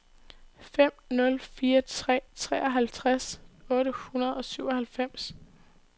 fem nul fire tre treoghalvtreds otte hundrede og syvoghalvfems